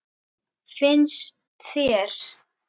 Finnst þér?